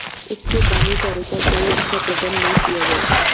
उसके दानेचारे का कोई अच्छा प्रबंध न किया गया